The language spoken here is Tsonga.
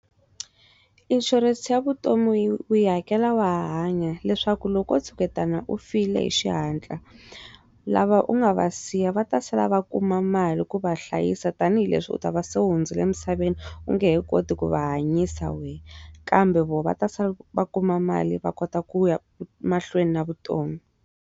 Insurance ya vutomi u yi hakela wa hanya leswaku loko tshuketana u file hi xihatla lava u nga va siya va ta sala va kuma mali ku va hlayisa tanihileswi u ta va se hundzile emisaveni u nge he koti ku va hanyisa we kambe vona va ta se va kuma mali va kota ku ya mahlweni na vutomi.